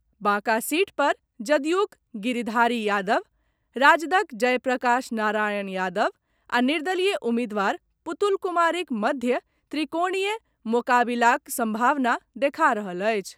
Banka seat पर जदयूक गिरिधारी यादव, राजदक जयप्रकाश नारायण यादव आ निर्दलीय उम्मीदवार पुतुल कुमारीक मध्य त्रिकोणीय मोकाबिलाक संभावना देखा रहल अछि।